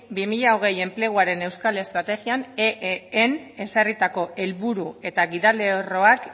bi mila hogei enpleguaren euskal estrategian eeen ezarritako helburu eta gidalerroak